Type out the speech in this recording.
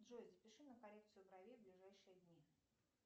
джой запиши на коррекцию бровей в ближайшие дни